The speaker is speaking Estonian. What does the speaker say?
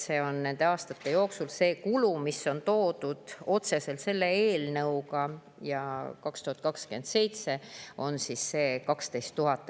See kulu, mis on otseselt selle eelnõuga, on 2027. aastal 12 000 eurot.